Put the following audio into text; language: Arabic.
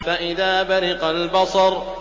فَإِذَا بَرِقَ الْبَصَرُ